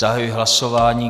Zahajuji hlasování.